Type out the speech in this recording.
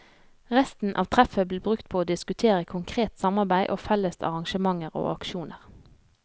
Resten av treffet ble brukt på å diskutere konkret samarbeid og felles arrangementer og aksjoner.